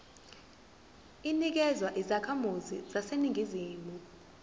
inikezwa izakhamizi zaseningizimu